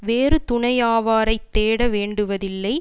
வேறு துணையாவாரைத் தேட வேண்டுவதில்லை